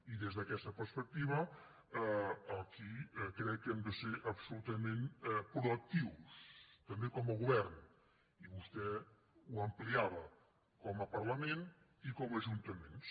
i des d’aquesta perspectiva aquí crec que hem de ser absolutament proactius també com a govern i vostè ho ampliava com a parlament i com a ajuntaments